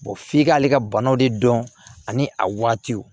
f'i k'ale ka banaw de dɔn ani a waatiw